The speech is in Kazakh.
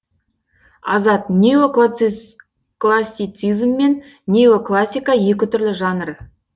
азат неоклассицизм мен неоклассика екі түрлі жанр